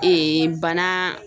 bana.